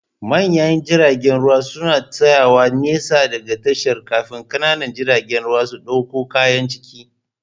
Manyan jiragen ruwa suna tsayawa nesa da tashar, kafin ƙanana jiragen ruwa su ɗauko kayan ciki